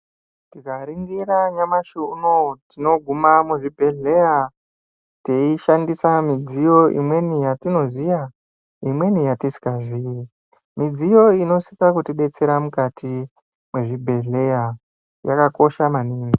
Tikaringira nyamashi unowu tinoguma muzvibhehleya teishandisa midziyo imweni yetinoziya imweni yetisingaziyi. Midziyo iyi inosise kutibetsera mukati mwezvibhehleya yakakosha maningi.